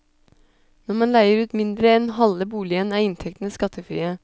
Når man leier ut mindre enn halve boligen, er inntektene skattefrie.